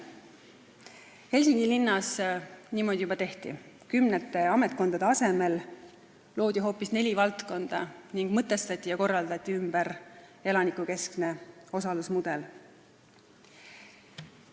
Helsingi linnas on niimoodi juba tehtud, kümnete ametkondade asemel on loodud hoopis neli valdkonda ning elanikukeskne osalusmudel on ümber mõtestatud ja korraldatud.